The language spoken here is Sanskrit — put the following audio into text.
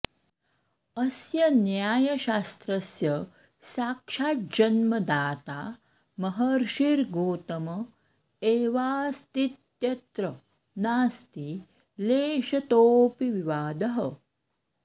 अस्य न्यायशास्त्रस्य साक्षाज्जन्मदाता महर्षिर्गोतम एवास्तीत्यत्र नास्ति लेशतोऽपि विवादः